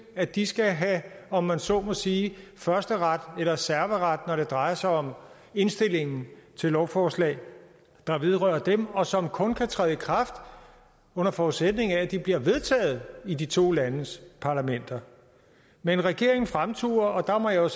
at de skal have om man så må sige førsteret eller serveret når det drejer sig om indstillingen til lovforslag der vedrører dem og som kun kan træde i kraft under forudsætning af at de bliver vedtaget i de to landes parlamenter men regeringen fremturer og der må jeg